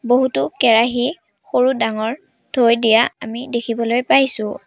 বহুতো কেৰাহী সৰু ডাঙৰ থৈ দিয়া আমি দেখিবলৈ পাইছোঁ।